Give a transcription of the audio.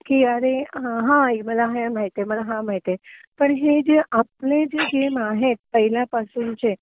कि अरे हा आई मला हे माहितीए मला हा माहितीए तर हे जे आपले जे गेम आहेत पहिल्या पासूनचे